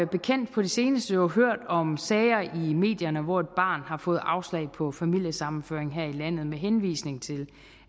bekendt på det seneste jo hørt om sager i medierne hvor et barn har fået afslag på familiesammenføring her i landet med henvisning til